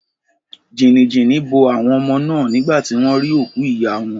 Jìnìjìnì bo àwon omo náà nígbà tí wón rí òkú ìyá won